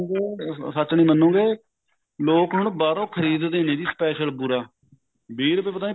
ਝੂਠ ਮਨੋਗੇ ਸੱਚ ਨੀ ਮਨੋਗੇ ਲੋਕ ਹੁਣ ਬਾਹਰੋਂ ਖਰੀਦ ਦੇ ਨੇ ਜੀ special ਬੁਰਾ ਵੀਹ ਰੂਪਏ ਪਤਾ ਨਹੀਂ ਪੱਚੀ ਰੂਪਏ